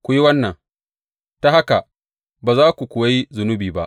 Ku yi wannan, ta haka ba za ku kuwa yi zunubi ba.